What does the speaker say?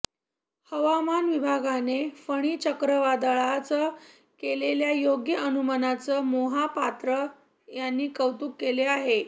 हवामान विभागाने फणी चक्रीवादळाचं केलेल्या योग्य अनुमानाचं मोहापात्रा यांनी कौतूक केलं आहे